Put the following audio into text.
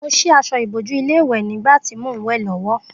Mo sí aṣọ ìbòju ilé ìwè nígbàtí mò n wè lówó